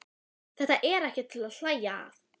Þetta er ekkert til að hlæja að!